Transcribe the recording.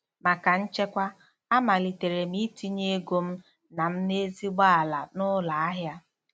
Maka nchekwa, amalitere m itinye ego m na m na ezigbo ala na ụlọ ahịa.